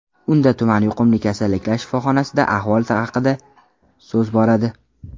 Unda tuman yuqumli kasalliklar shifoxonasida ahvol haqida so‘z boradi.